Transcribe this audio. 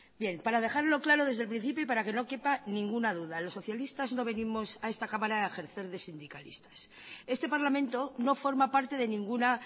bien para dejarlo claro desde el principio y para que no quepa ninguna duda los socialistas no venimos a esta cámara a ejercer de sindicalistas este parlamento no forma parte de ninguna